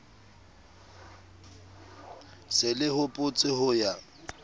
se le hopotse ho ya